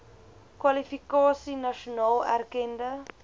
kwalifikasie nasionaal erkende